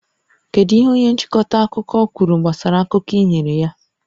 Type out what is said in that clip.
Kedu ihe onye nchịkọta akụkọ kwuru gbasara akụkọ ị nyere ya?